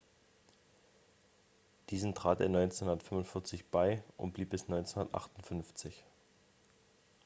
diesen trat er 1945 bei und blieb bis 1958